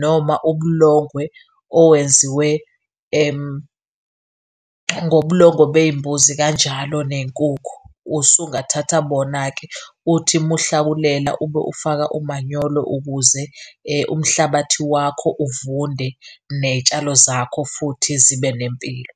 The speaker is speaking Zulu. noma ubulongwe owenziwe ngobulongwe bey'mbuzi kanjalo ney'nkukhu. Usungathatha bona-ke. Uthi muhlakulela ube ufaka umanyolo, ukuze umhlabathi wakho uvunde ney'tshalo zakho futhi zibe nempilo.